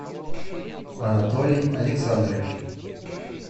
анатолий александрович